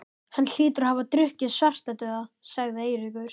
Hann hlýtur að hafa drukkið Svartadauða, sagði Eiríkur.